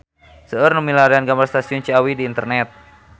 Seueur nu milarian gambar Stasiun Ciawi di internet